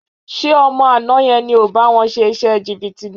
Ṣé ọmọ àná yẹn ni ò bá wọn ṣe iṣẹ́ jìbìtì náà?